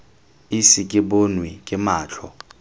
ise ke bonwe ke matlho